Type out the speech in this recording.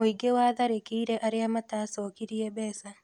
Mũingĩ watharĩkĩire arĩa matacokirie mbeca